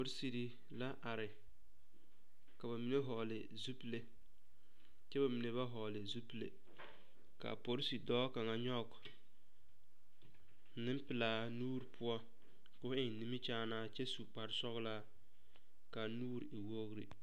Poresire la are ka ba mine vɔgle zupile kyɛ ba mine ba vɔgle zupile a poresi dɔɔ kaŋ nyɔge nempelaa nuure poɔ ka o eŋ nimikyaanaa kyɛ su sɔglaa ka a nuure e wogre.